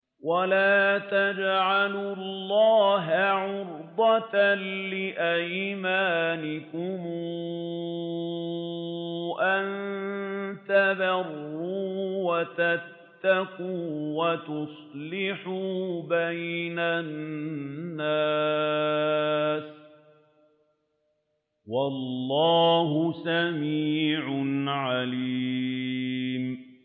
وَلَا تَجْعَلُوا اللَّهَ عُرْضَةً لِّأَيْمَانِكُمْ أَن تَبَرُّوا وَتَتَّقُوا وَتُصْلِحُوا بَيْنَ النَّاسِ ۗ وَاللَّهُ سَمِيعٌ عَلِيمٌ